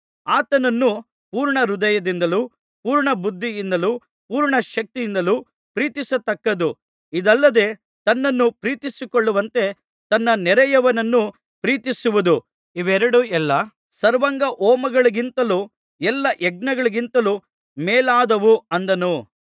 ಆತನನ್ನು ಪೂರ್ಣಹೃದಯದಿಂದಲೂ ಪೂರ್ಣ ಬುದ್ಧಿಯಿಂದಲೂ ಪೂರ್ಣ ಶಕ್ತಿಯಿಂದಲೂ ಪ್ರೀತಿಸತಕ್ಕದ್ದು ಇದಲ್ಲದೆ ತನ್ನನ್ನು ಪ್ರೀತಿಸಿಕೊಳ್ಳುವಂತೆ ತನ್ನ ನೆರೆಯವನನ್ನು ಪ್ರೀತಿಸುವುದು ಇವೆರಡೂ ಎಲ್ಲಾ ಸರ್ವಾಂಗಹೋಮಗಳಿಗಿಂತಲೂ ಎಲ್ಲಾ ಯಜ್ಞಗಳಿಗಿಂತಲೂ ಮೇಲಾದುವು ಅಂದನು